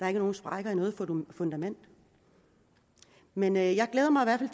er nogen sprækker i noget fundament men jeg jeg glæder mig i